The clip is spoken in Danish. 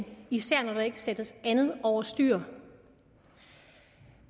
især når der ikke sættes andet over styr